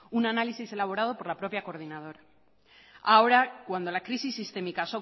un análisis elaborado por la propia coordinadora ahora cuando la crisis sistémica